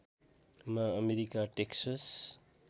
मा America Texas